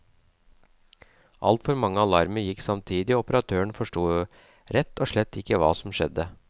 Altfor mange alarmer gikk samtidig og operatøren forsto rett og slett ikke hva som skjedde.